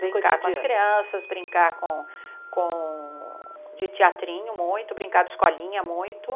Brincar com as crianças, brincar com com de teatrinho muito, brincar de escolinha muito.